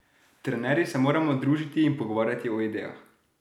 Trenerji se moramo družiti in pogovarjati o idejah.